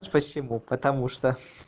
спасибо потому что